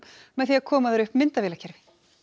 með því að koma þar upp myndavélakerfi